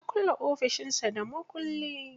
Ya kulle ofishin sa da mukulli.